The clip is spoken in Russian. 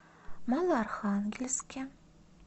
малоархангельске